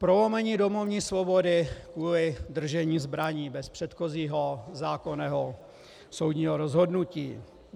Prolomení domovní svobody kvůli držení zbraní bez předchozího zákonného soudního rozhodnutí.